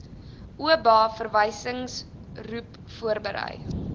oba verwysingsgroep voorberei